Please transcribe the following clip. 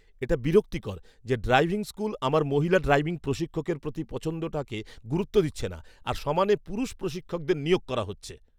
এটা বিরক্তিকর যে ড্রাইভিং স্কুল আমার মহিলা ড্রাইভিং প্রশিক্ষকের প্রতি পছন্দটাকে গুরুত্ব দিচ্ছে না, আর সমানে পুরুষ প্রশিক্ষকদের নিয়োগ করা হচ্ছে।